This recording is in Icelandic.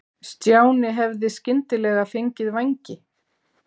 Stjáni hefði skyndilega fengið vængi.